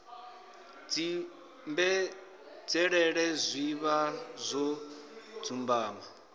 dzimbenzhelele zwi vha zwo dzumbama